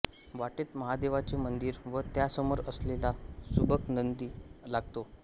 वाटेत महादेवाचे मंदीर व त्या समोर असलेला सुबक नंदी लागतो